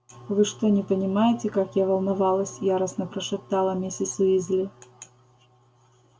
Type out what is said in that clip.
вы что не понимаете как я волновалась яростно прошептала миссис уизли